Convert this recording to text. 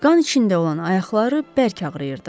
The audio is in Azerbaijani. Qan içində olan ayaqları bərk ağrıyırdı.